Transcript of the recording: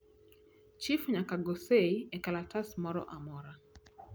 chif nyaka go seyi e kalatas moro amora